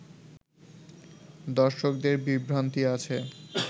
দর্শকদের বিভ্রান্তি আছে